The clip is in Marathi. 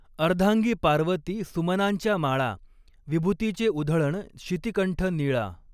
अर्धांगीं पार्वती सुमनांच्या माळा ॥ विभुतीचें उधळण शितिकंठ नीळा.